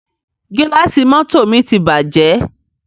Gílàsì mọ́tọ̀ mi ti bàjẹ́.